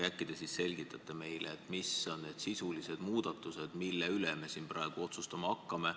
Äkki te selgitate meile, mis on need sisulised muudatused, mille üle me siin praegu otsustama hakkame.